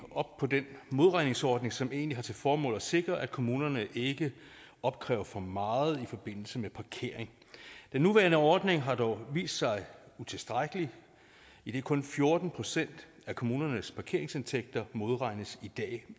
op på den modregningsordning som egentlig har til formål at sikre at kommunerne ikke opkræver for meget i forbindelse med parkering den nuværende ordning har dog vist sig utilstrækkelig idet kun fjorten procent af kommunernes parkeringsindtægter i modregnes